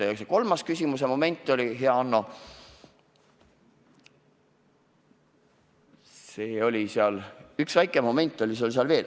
Ja see kolmas küsimuse moment, hea Hanno – üks väike moment oli sul seal veel.